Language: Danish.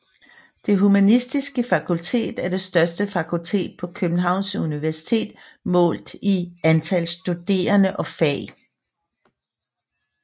Det Humanistiske Fakultet er det største fakultet på Københavns Universitet målt i antal studerende og fag